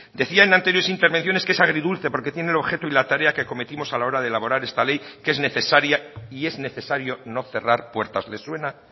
decía en anteriores intervenciones que es agridulce porque tiene el objeto y la tarea que acometimos a la hora de elaborar esta ley que es necesaria y es necesario no cerrar puertas le suena